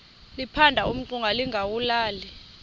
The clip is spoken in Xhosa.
liphanda umngxuma lingawulali